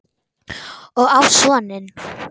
Og á soninn.